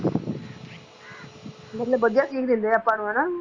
ਮਤਲਬ ਵਧੀਆ ਸੀਖ ਦਿੰਦੇ ਆ ਆਪਾਂ ਨੂੰ ਹਨਾ।